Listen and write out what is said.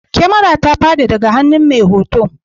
Kamara ta fadi daga hannun mai hoto